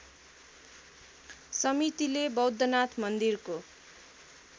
समितिले बौद्धनाथ मन्दिरको